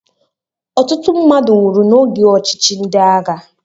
Ọtụtụ mmadụ nwụrụ n'oge ọchịchị ndị agha